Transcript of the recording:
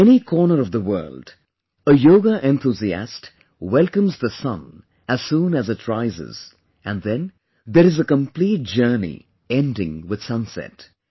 In any corner of the world, yoga enthusiast welcomes the sun as soon it rises and then there is the complete journey ending with sunset